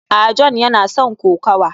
a, John yana son kokawa